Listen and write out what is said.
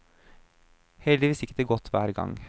Heldigvis gikk det godt hver gang.